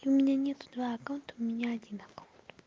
и у меня не твой аккаунт у меня один аккаунт